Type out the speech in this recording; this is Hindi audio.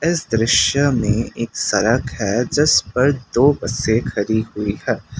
इस दृश्य में एक सड़क है जिस पर दो बसें खड़ी हुई है।